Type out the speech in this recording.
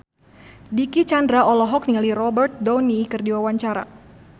Dicky Chandra olohok ningali Robert Downey keur diwawancara